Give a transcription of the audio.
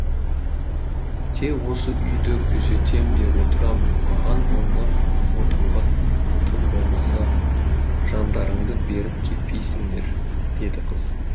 тек осы үйді күзетем де отырамын маған ойнап отыруға тым болмаса жандарыңды беріп кетпейсіңдер деді қыз